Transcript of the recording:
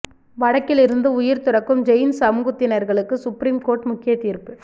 வடக்கிருந்து உயிர் துறக்கும் ஜெயின் சமூகத்தினர்களுக்கு சுப்ரீம் கோர்ட் முக்கிய தீர்ப்பு